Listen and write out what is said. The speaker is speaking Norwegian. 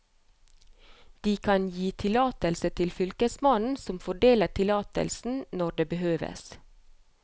De kan gi tillatelse til fylkesmannen, som fordeler tillatelsen når det behøves.